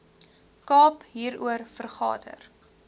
kaap hieroor vergader